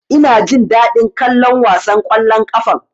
Ina jin daɗin kallon wasan ƙwallon ƙafan.